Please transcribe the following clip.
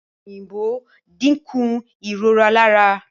Ọ̀pẹ̀-òyìnbó dínkù ìrora lára.